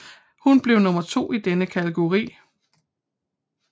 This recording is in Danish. Hun blev nummer to i denne kategori